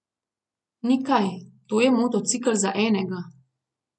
Ni kaj, to je motocikel za enega.